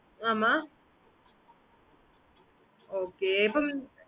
okay mam